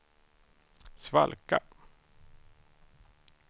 svalka